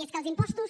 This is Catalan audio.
i és que els impostos